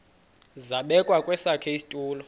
zabekwa kwesakhe isitulo